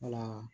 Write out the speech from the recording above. Wala